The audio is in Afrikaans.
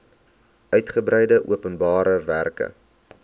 uigebreide openbare werke